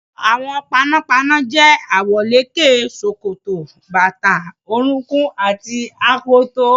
Aṣọ àwọn panápaná jẹ́ àwọ̀lékè, ṣòkòtò, bàtà orúnkún àti akoto.